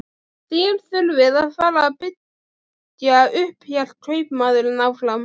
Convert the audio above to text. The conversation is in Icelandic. Þér þurfið að fara að byggja upp, hélt kaupmaðurinn áfram.